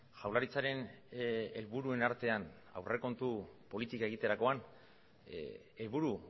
jaurlaritzaren helburuen artean aurrekontu politika egiterakoan helburu